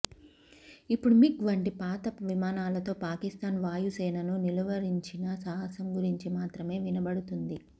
ఇప్పుడు మిగ్ వంటి పాత విమానాలతో పాకిస్తాన్ వాయుసేనను నిలువరించిన సాహసం గురించి మాత్రమే వినబడుతుంది